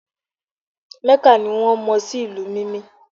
mecca ni won mo si ìlú Mimi